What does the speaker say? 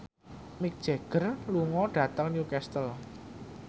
Mick Jagger lunga dhateng Newcastle